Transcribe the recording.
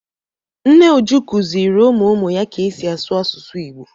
Nne Uju kuziri ụmụ ụmụ ya ka esi asụ asusu Igbo.